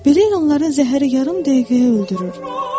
Belə ilanların zəhəri yarım dəqiqəyə öldürür.